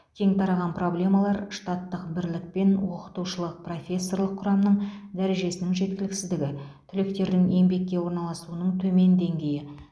кең тараған проблемалар штаттық бірлік пен оқытушылық профессорлық құрамның дәрежесінің жеткіліксіздігі түлектердің еңбекке орналасуының төмен деңгейі